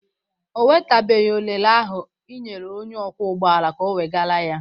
Ọ wetabeghị orele ahụ ị nyere onye ọkwọ ụgbọala ka o wegara ya.